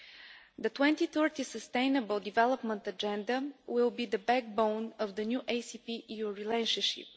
The 2030 sustainable development agenda will be the backbone of the new ACP EU relationship.